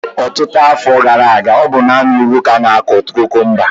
Ọtụtụ afọ gara aga, ọ bụ naanị n'ugwu ka ánà-akụ kukumba